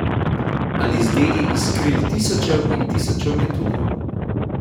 Ali z deli iz kril tisočev in tisočev metuljev.